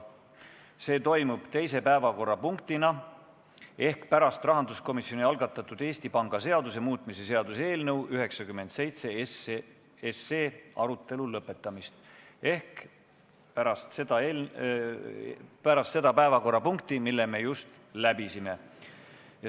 See toimub teise päevakorrapunktina ehk pärast rahanduskomisjoni algatatud Eesti Panga seaduse muutmise seaduse eelnõu 97 arutelu lõpetamist ehk pärast seda päevakorrapunkti, mille me just läbisime.